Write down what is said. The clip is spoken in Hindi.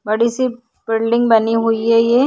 बड़ी सी बिल्डिंग बनी हुइ है ये।